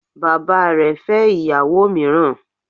Bàbá rẹ fẹ́ ìyàwó míràn